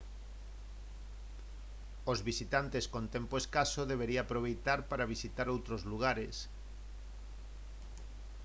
os visitantes con tempo escaso debería aproveitar para visitar outros lugares